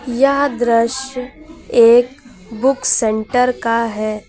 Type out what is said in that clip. यह दृश्य एक बुक सेंटर का है।